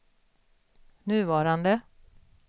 nuvarande